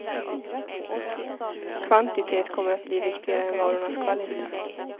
Kvantitet kommer att bli viktigare än varornas kvalitet.